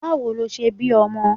Báwo lo ṣe bí ọmọ?